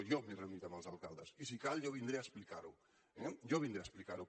jo m’he reunit amb els alcaldes i si cal jo vindré a explicar ho eh jo vindré a explicar ho